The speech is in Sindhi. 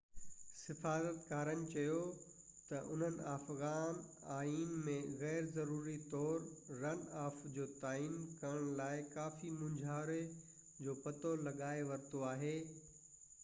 سفارتڪارن چيو ته هنن افغان آئين ۾ غيرضروري طور رن آف جو تعين ڪرڻ لاءِ ڪافي مونجهاري جو پتو لڳائي ورتو آهي